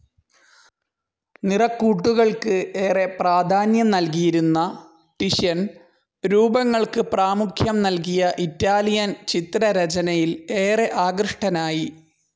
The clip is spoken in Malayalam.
നിറക്കൂട്ടുകൾക്ക് ഏറെ പ്രാധാന്യം നൽകിയിരുന്ന ടിഷ്യൻ രൂപങ്ങൾക്ക് പ്രാമുഖ്യം നൽകിയ ഇറ്റാലിയൻ ചിത്രരചനയിൽ ഏറെ ആകൃഷ്ടനായി.